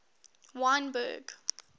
wynberg